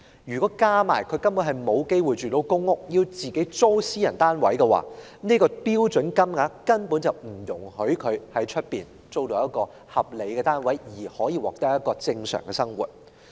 如再加上他們因沒有機會入住公屋而要租住私人單位，相關的標準金額根本不足以讓他們在市場上租住一個合理的單位，過正常的生活。